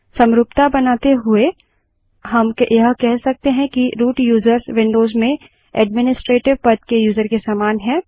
समरूपता बनाते हुए हम यह कह सकते हैं कि रूट यूज़र्स विन्डोज़ में ऐड्मिनिस्ट्रेटिव पद के यूज़र के समान है